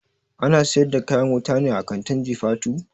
Ana siyar da kayan wuta ne a kantin jifatu?